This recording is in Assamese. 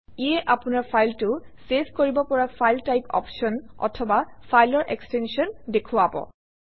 ইয়ে আপোনৰ ফাইলটো চেভ কৰিব পৰা ফাইল টাইপ অপশ্যন অথবা ফাইলৰ এক্সটেনশ্যন দেখুৱাব